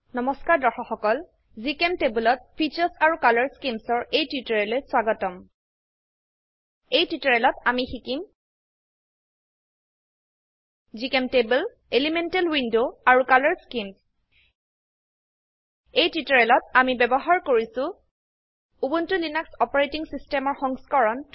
নমস্কাৰ দৰ্শক সকল GChemTableত ফিচাৰ্ছ আৰু কলৰ স্কিমছ ৰ এই টিউটোৰিয়েললৈ স্বাগতম এই টিউটোৰিয়েলত আমি শিকিম জিচেম্টেবল মৌল উইন্ডো আৰু কালাৰ স্কিম এই টিউটোৰিয়েলত আমি ব্যবহাৰ কৰিছো উবুন্টু লিনাক্স অপাৰেটিং সিস্টেমৰ সংস্কৰণ 1204